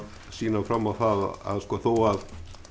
sýna fram á það að þó að